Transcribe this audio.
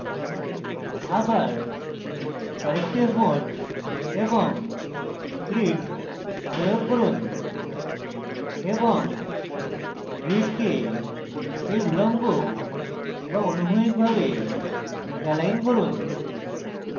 আবার corrective mode এবং grid প্রয়োগ করুন এবং grid এই উল্লম্ব বা অনুভূমিক ভাবে এলাইন করুন